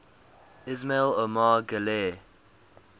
ismail omar guelleh